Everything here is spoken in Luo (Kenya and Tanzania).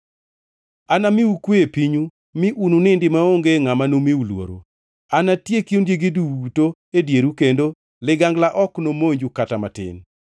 Anamiu kwe e pinyu, mi ununindi maonge ngʼama nomiu luoro. Anatieki ondiegi duto e dieru kendo ligangla ok nomonju kata matin.